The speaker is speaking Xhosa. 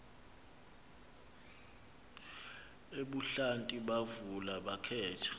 ebuhlanti bavula bakhetha